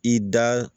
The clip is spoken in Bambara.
I da